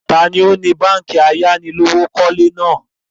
Taàní ó ní báànkì ayánilówókọ̀lé náà?